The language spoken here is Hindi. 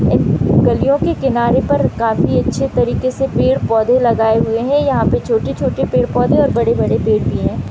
गलियों के किनारे पर काफी अच्छे तरीके से पेड़-पौधे लगाए हुए है यहाँ पे छोटे-छोटे पेड़-पौधे और बड़े-बड़े पेड़ भी है।